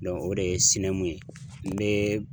Dɔnku o de ye sinɛmu ye n bee